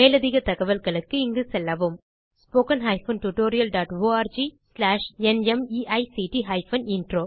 மேலதிகத் தகவல்களுக்கு இங்கு செல்லவும் httpspoken tutorialorgNMEICT Intro